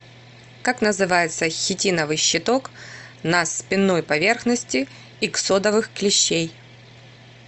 как называется хитиновый щиток на спинной поверхности иксодовых клещей